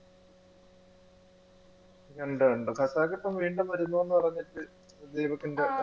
കണ്ടു കണ്ടു ഇപ്പൊ വീണ്ടും വരുന്നുന്നു പറഞ്ഞിട്ട് ദീപക്കിന്റെ